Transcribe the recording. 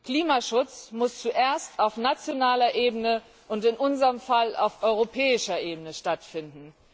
Klimaschutz muss zuerst auf nationaler Ebene und in unserem Fall auf europäischer Ebene stattfinden.